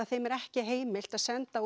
þeim er ekki heimilt að senda